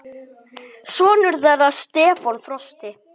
Sonur þeirra Stefán Frosti.